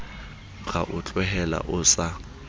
ra o tlohela o sa